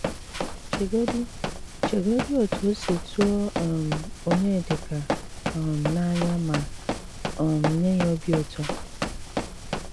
Ché́gòdí Ché́gòdí ótú ó sí túò um Ọnyédíkà um n’ányà mà um nyé yá òbí ụtọ́